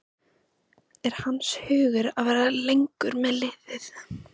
Er hans hugur að vera lengur með liðið?